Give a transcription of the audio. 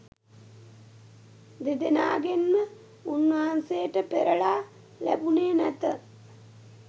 දෙදෙනාගෙන්ම උන්වහන්සේට පෙරළා ලැබුණේ නැත.